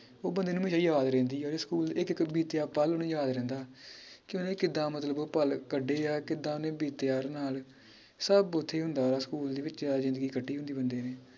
ਉਹ ਬੰਦੇ ਨੂੰ ਈ ਯਾਦ ਰਹਿੰਦੀ ਆ ਬੀ ਸਕੂਲ ਇਕ ਇਕ ਬੀਤਿਆ ਪੱਲ ਓਹਨੂੰ ਯਾਦ ਰਹਿੰਦਾ ਕਿ ਓਹਨੇ ਕਿਦਾਂ ਮਤਲਬ ਉਹ ਪੱਲ ਕੱਢੇ ਆ ਕਿਦਾਂ ਓਹਨੇ ਬੀਤਿਆ ਹਰ ਨਾਲ ਸਬ ਓਥੇ ਈ ਹੁੰਦਾ school ਦੇ ਵਿਚ ਜਿੰਦਗੀ ਕੱਟੀ ਹੁੰਦੀ ਬੰਦੇ ਨੇ